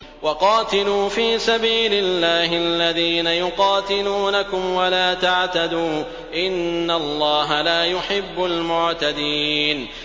وَقَاتِلُوا فِي سَبِيلِ اللَّهِ الَّذِينَ يُقَاتِلُونَكُمْ وَلَا تَعْتَدُوا ۚ إِنَّ اللَّهَ لَا يُحِبُّ الْمُعْتَدِينَ